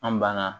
An banna